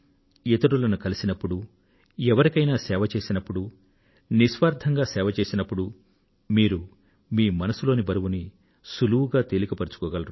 ఇతరులను కలసినప్పుడు ఎవరికైనా సేవ చేసినప్పుడు నిస్వార్థంగా సేవ చేసినప్పుడు మీరు మీ మనసులోని బరువును సులువుగా తేలిక పరచుకోగలరు